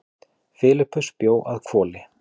Filippus bjó að Hvoli.